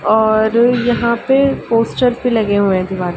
और यहाँ पे पोस्टर्स भी लगे हुए दीवार--